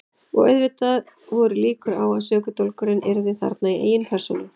Og auðvitað voru líkur á að sökudólgurinn yrði þarna í eigin persónu.